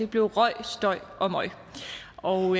blev røg støj og møg og